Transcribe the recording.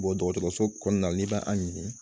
Bɔ dɔgɔtɔrɔso kɔnɔna la n'i b'an ɲini?